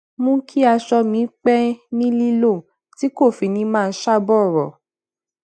mú kí aṣọ mi pẹ ni lilo ti ko fi ni maa ṣa bọrọ